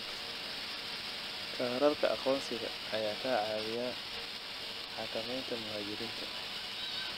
Kaararka aqoonsiga ayaa ka caawiya xakamaynta muhaajiriinta.